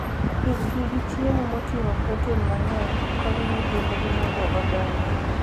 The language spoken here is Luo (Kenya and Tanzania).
Pidhgi gi chiemo moting'o protein mang'eny konyo nyithindgi mondo odongi.